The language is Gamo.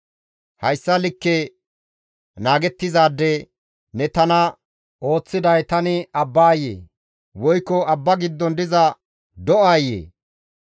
Hayssa likke naagettizaade ne tana ooththiday tani abbayee? Woykko abba giddon diza do7aayee?